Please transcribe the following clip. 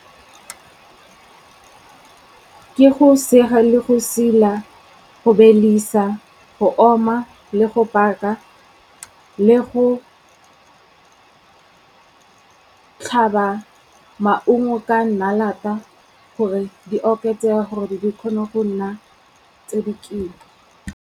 Ke go sega le go sila, go belisa, go oma le go paka, le go tlhaba maungo ka nnalata gore di oketsege gore di kgone go nna tse dikima.